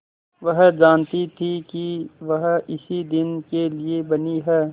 वह जानती थी कि वह इसी दिन के लिए बनी है